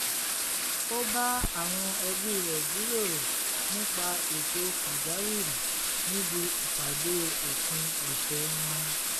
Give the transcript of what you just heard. ó bá àwọn ẹbí rẹ̀ jíròrò nípa ètò pàjáwìrì níbi ìpàdé ópin ọ̀sẹ̀ wọn